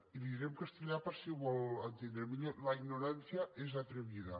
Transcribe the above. i li ho diré en castellà per si ho vol entendre millor la ignorancia es atrevida